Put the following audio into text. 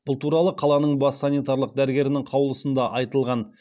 бұл туралы қаланың бас санитарлық дәрігерінің қаулысында айтылған